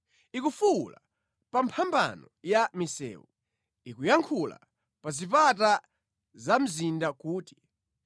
ikufuwula pa mphambano ya misewu, ikuyankhula pa zipata za mzinda kuti,